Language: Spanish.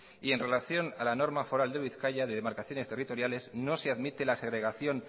y en relación a la norma foral de bizkaia de demarcaciones territoriales no se admite la segregación